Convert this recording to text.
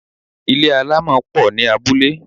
Mud huts are many in villages.